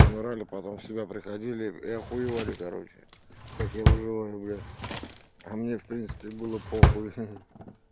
умирали потом себя приходили я охуеваю короче как я выживаю бля а мне в принципе было похуи